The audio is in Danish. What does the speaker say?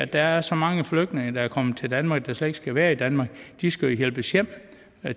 der er så mange flygtninge der er kommet til danmark der slet ikke skal være i danmark de skal jo hjælpes hjem